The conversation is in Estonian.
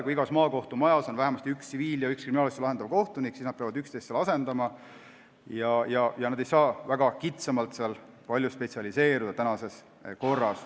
Kui igas maakohtumajas on vähemasti üks tsiviilasju ja üks kriminaalasju lahendav kohtunik, siis nad peavad üksteist asendama ja nad ei saa väga kitsalt spetsialiseeruda.